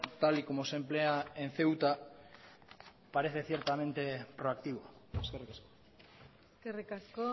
tal y como se emplea en ceuta parece ciertamente proactivo eskerrik asko